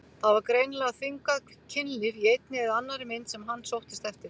Það var greinilega þvingað kynlíf í einni eða annarri mynd sem hann sóttist eftir.